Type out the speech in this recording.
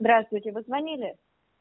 здравствуйте вы звонили